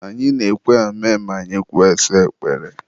Anyị na-ekwe amen ma anyị kpesịa ekpere.